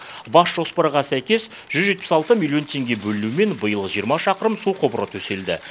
бас жоспарға сәйкес жүз жетпіс алты миллион теңге бөлінуімен биыл жиырма шақырым су құбыры төселді